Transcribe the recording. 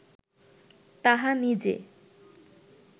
তাহা নিজে